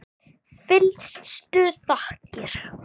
Fyllstu þakkir.